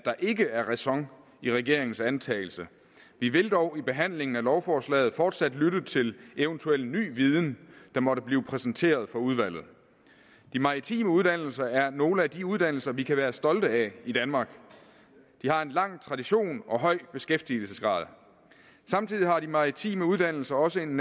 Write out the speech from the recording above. der ikke er ræson i regeringens antagelse vi vil dog i behandlingen af lovforslaget fortsat lytte til eventuel ny viden der måtte blive præsenteret for udvalget de maritime uddannelser er nogle af de uddannelser vi kan være stolte af i danmark de har en lang tradition og høj beskæftigelsesgrad samtidig har de maritime uddannelser også en